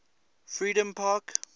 freedompark